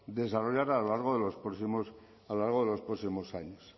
desarrollar a lo largo de los próximos años